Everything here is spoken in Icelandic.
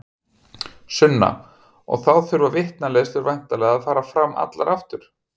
Sunna: Og þá þurfa vitnaleiðslur væntanlega að fara fram allar aftur?